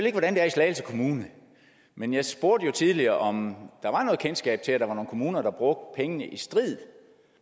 ikke hvordan det er i slagelse kommune men jeg spurgte tidligere om der var noget kendskab til at der var nogle kommuner der brugte pengene i strid